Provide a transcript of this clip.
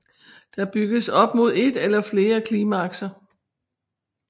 Der bygges op mod et eller flere klimakser